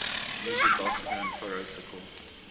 user datagram protocol